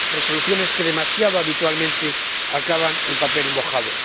resoluciones que demasiado habitualmente acaban en papel mojado.